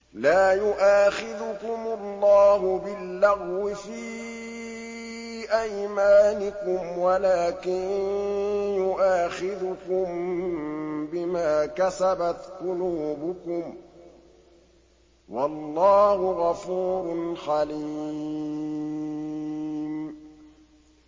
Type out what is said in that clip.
لَّا يُؤَاخِذُكُمُ اللَّهُ بِاللَّغْوِ فِي أَيْمَانِكُمْ وَلَٰكِن يُؤَاخِذُكُم بِمَا كَسَبَتْ قُلُوبُكُمْ ۗ وَاللَّهُ غَفُورٌ حَلِيمٌ